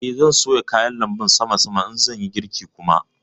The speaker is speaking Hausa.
Eh, zan soya kayan lanbun sama sama in zan yi girki kuma